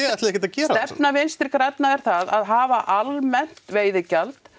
ætlið ekkert að gera það stefna Vinstri grænna er það að hafa almennt veiðigjald